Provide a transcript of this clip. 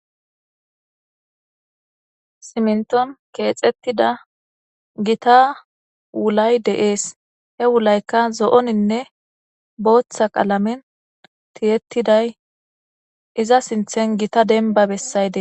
Simminththuwan keetheththida githa ulay de7ees; he ulaykka zo7oninne booththa qalamen thiyeththiday iza sinththen gita dembba bessayde.